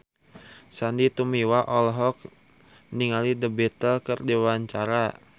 Sandy Tumiwa olohok ningali The Beatles keur diwawancara